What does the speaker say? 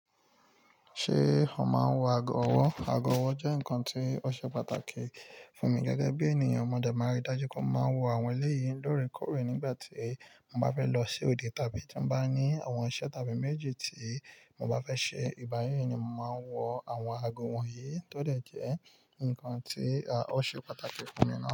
Ṣé ó máa ń wọ ago ọwọ́? Ago ọwọ́ jẹ́ nǹkan tí ó ṣe pàtàkì fún mi gẹ́gẹ́ bí ènìyàn. Mo dẹ̀ máa n rí dájú pé mo máa ń wọ àwọn eléyìí lóòrèkóòrè nígbà tí mo bá fẹ́ lọ sí òde tàbí tí mo bá ní àwọn iṣẹ́ tàbí méjì tí mo bá fẹ́ ṣe. Ìgbá yí ni mo máa ń wọ àwọn ago wọ̀nyí tó dẹ jẹ́ ǹkan tí ó ṣe pàtàkì fún mi naa.